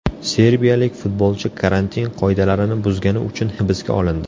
Serbiyalik futbolchi karantin qoidalarini buzgani uchun hibsga olindi.